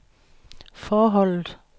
forholdet